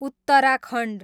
Uttarakhand